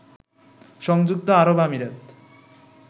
সংযুক্ত আরব আমিরাত